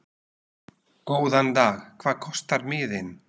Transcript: Góðan dag. Hvað kostar miðinn?